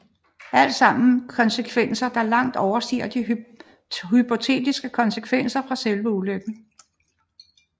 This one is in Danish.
Alt sammen konsekvenser der langt overstiger de hypotetiske konsekvenser fra selve ulykken